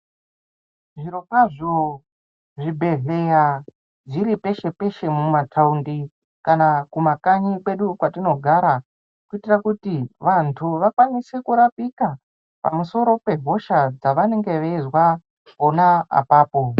Zvirokwazvo, zvibhedhlera zviri peshe-peshe mumataundi kana kumakanyi kwedu kwatinogara, kuitira kuti vantu vakwanise kurapika pamusoro pehosha dzavanenge vachizwa, pona apapo.